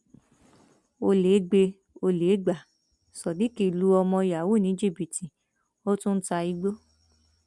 ọlẹ gbé e olè gbá sodiq lu ọmọ yahoo ní jìbìtì ó tún ń ta igbó